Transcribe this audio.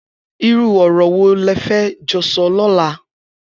Irù ọrọ wó lẹ fẹ jọ sọ lọ̀là